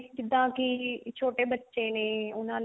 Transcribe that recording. ਜਿੱਦਾਂ ਕੀ ਛੋਟੇ ਬੱਚੇ ਨੇ ਉਹਨਾਂ ਲਈ